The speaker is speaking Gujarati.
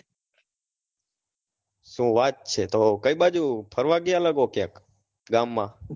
શું વાત છે તો કઈ બાજુ ફરવા ગયા લાગો ક્યાંક ગામ માં